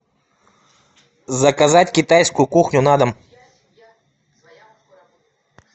заказать китайскую кухню на дом